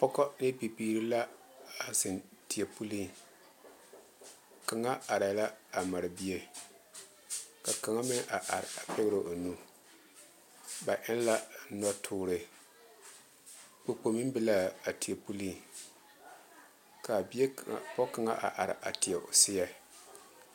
Pɔge ne bibiiri la a zeŋ teɛ puli kaŋa are la a mare bie ka kaŋa meŋ a are pɛgre o nu ba e la nɔ tuure popo meŋ be la a teɛ puli kaa bie kaŋa pɔge kaŋa a teɛ o siɛ.